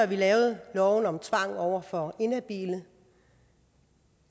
vi lavede loven om tvang over for inhabile